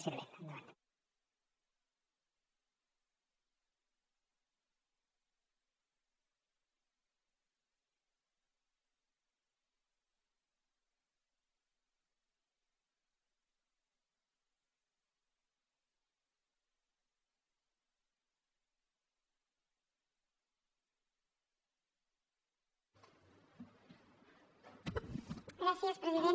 gràcies president